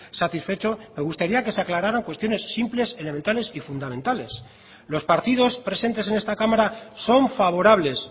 satisfecho me gustaría que se aclararan cuestiones simples elementales y fundamentales los partidos presentes en esta cámara son favorables